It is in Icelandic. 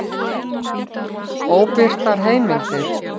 Óbirtar heimildir: